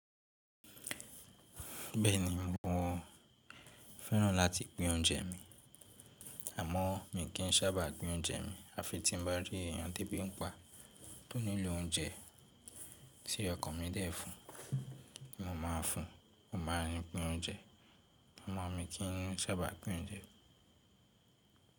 Bẹ́ẹ̀ni, mo fẹ́ràn láti pín oúnjẹ mi, àmọ́ mi kì n sábà pin oúnjẹ mi. Àfi tí n bá rí èèyàn tébí ń pa tó nílò oúnjẹ tí ọkàn mi dè fún, mo máa fún, mo máa n pín oúnjẹ. Amo mi kì n sábà pín oúnjẹ.